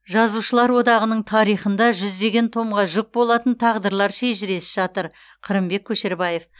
жазушылар одағының тарихында жүздеген томға жүк болатын тағдырлар шежіресі жатыр қырымбек көшербаев